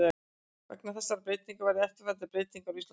Vegna þessarar breytingar verða eftirfarandi breytingar á Íslandsmótinu: